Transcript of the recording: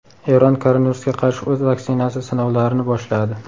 Eron koronavirusga qarshi o‘z vaksinasi sinovlarini boshladi.